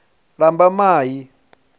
lambamai